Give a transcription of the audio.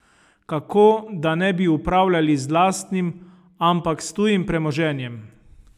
Kakor da ne bi upravljali z lastnim, ampak s tujim premoženjem!